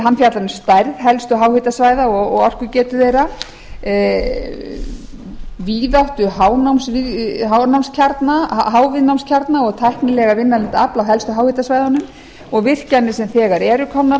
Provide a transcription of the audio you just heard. hann fjallar um stærð helstu háhitasvæða og orkugetu þeirra víðáttu háviðnámskjarna og tæknilega vinnanlegt afl á helstu háhitasvæðunum og virkjanir sem þegar eru komnar á